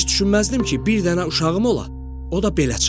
Heç düşünməzdim ki, bir dənə uşağım ola, o da belə çıxa.